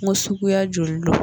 Ko suguya joli don